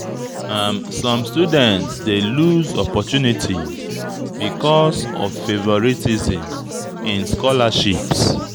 Some students dey lose opportunities because of favoritism in scholarships.